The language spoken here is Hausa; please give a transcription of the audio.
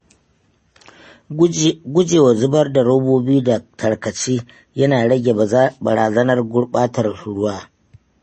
Gujewa zubar da robobi da tarkace yana rage barazanar gurɓatar ruwa.